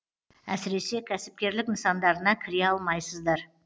әсіресе кәсіпкерлік нысандарына кіре алмайсыздар